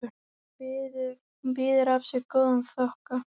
Hún býður af sér góðan þokka.